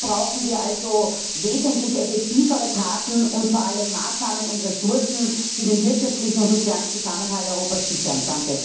Hier brauchen wir also wesentlich effektivere Taten und vor allem Maßnahmen und Ressourcen, die den wirtschaftlichen und sozialen Zusammenhalt Europas sichern.